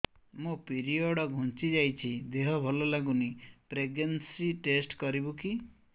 ମୋ ପିରିଅଡ଼ ଘୁଞ୍ଚି ଯାଇଛି ଦେହ ଭଲ ଲାଗୁନି ପ୍ରେଗ୍ନନ୍ସି ଟେଷ୍ଟ କରିବୁ କି